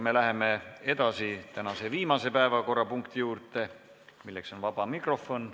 Me läheme tänase viimase päevakorrapunkti juurde, milleks on vaba mikrofon.